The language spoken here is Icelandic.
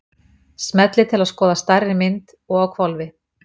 Smellið til að skoða stærri mynd- og á hvolfi!